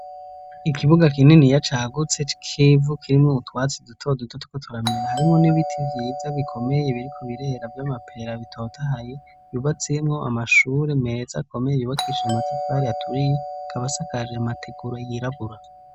Ikibuga kinini ya cahagutse kivu kirimwo utwatsi dutodutotko turamera harimwo n'ibiti vyiza bikomeye ibiri ku birehera vy'amapeera bitotahaye yubatsimwo amashure meza akomeye ibibakisha amatafari aturiye kaba sakaja amateguro yiragura.